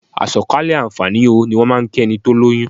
"Àsọ̀kalẹ̀ àǹfààní o" ni wọ́n máà ń kí ẹni tó lóyún.